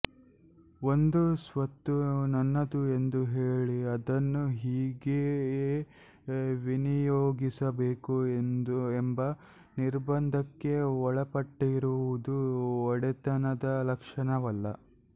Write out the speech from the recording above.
ಒಂದು ಸ್ವತ್ತು ನನ್ನದು ಎಂದು ಹೇಳಿ ಅದನ್ನು ಹೀಗೆಯೇ ವಿನಿಯೋಗಿಸಬೇಕು ಎಂಬ ನಿರ್ಬಂಧಕ್ಕೆ ಒಳಪಟ್ಟಿರುವುದು ಒಡೆತನದ ಲಕ್ಷಣವಲ್ಲ